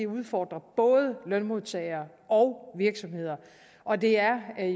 udfordrer lønmodtagere og virksomheder og det er